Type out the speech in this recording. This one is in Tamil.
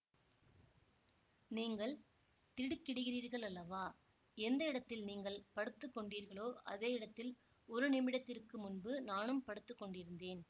நீங்கள் திடுக்கிடுகிறீர்களல்லவா எந்த இடத்தில் நீங்கள் படுத்துக்கொண்டீர்களோ அதே இடத்தில் ஒரு நிமிடத்திற்கு முன்பு நான் படுத்துக்கொண்டிருந்தேன்